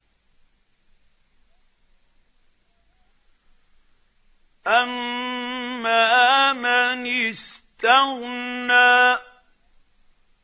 أَمَّا مَنِ اسْتَغْنَىٰ